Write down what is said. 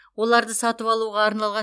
оларды сатып алуға арналған